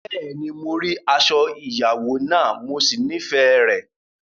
Bẹ́ẹ̀ni, mo rí aṣọ ìyàwó náà, mo sì nífẹ̀ẹ́ rẹ̀.